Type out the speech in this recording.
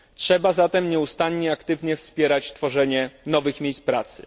Trzeba zatem nieustannie, aktywnie wspierać tworzenie nowych miejsc pracy.